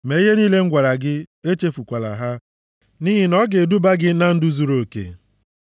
Mee ihe niile m gwara gị, echefukwala ha, nʼihi na ọ ga-eduba gị na ndụ zuruoke.